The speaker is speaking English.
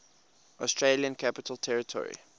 australian capital territory